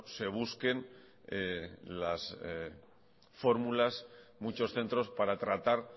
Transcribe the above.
se busquen las fórmulas muchos centros para tratar